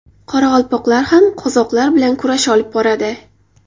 Qoraqalpoqlar ham qozoqlar bilan kurash olib boradi.